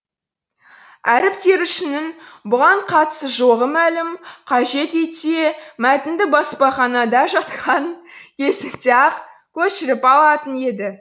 әріп терушінің бұған қатысы жоғы мәлім қажет етсе мәтінді баспаханада жатқан кезінде ақ көшіріп алатын еді